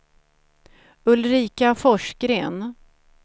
Ulrika Forsgren